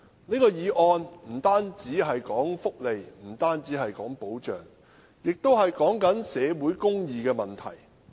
這項議案不單關乎福利和保障，亦關乎社會公義的問題。